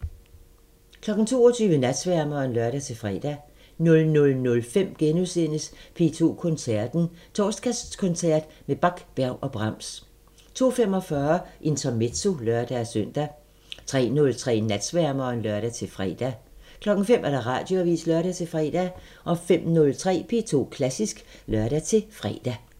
22:00: Natsværmeren (lør-fre) 00:05: P2 Koncerten – Torsdagskoncert med Bach, Berg og Brahms * 02:45: Intermezzo (lør-søn) 03:03: Natsværmeren (lør-fre) 05:00: Radioavisen (lør-fre) 05:03: P2 Klassisk (lør-fre)